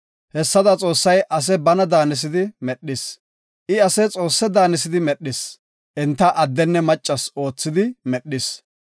Hessada Xoossay ase bana daanisidi medhis. I ase Xoosse daanisidi medhis; enta addenne maccas oothidi medhis.